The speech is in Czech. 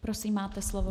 Prosím, máte slovo.